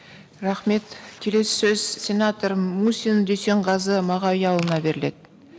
рахмет келесі сөз сенатор мусин дүйсенғазы мағауияұлына беріледі